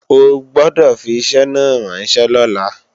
O gbọ́dọ̀ fi iṣẹ́ náà ránṣẹ́ lọ́la!